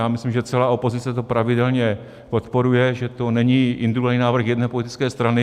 Já myslím, že celá opozice to pravidelně podporuje, že to není individuální návrh jedné politické strany.